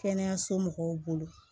Kɛnɛyaso mɔgɔw bolo